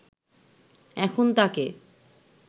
এখন তাকে